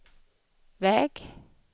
väg